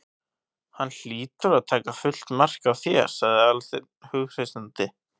Hann hlýtur að taka fullt mark á þér- sagði Aðalsteinn hughreystandi.